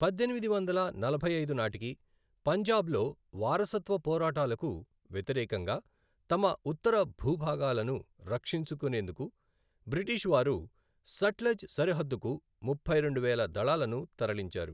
పద్దెనిమిది వందల నలభై ఐదు నాటికి పంజాబ్లో వారసత్వ పోరాటాలకు వ్యతిరేకంగా తమ ఉత్తర భూభాగాలను రక్షించుకునేందుకు బ్రిటిషు వారు సట్లెజ్ సరిహద్దుకు ముప్పై రెండు వేల దళాలను తరలించారు.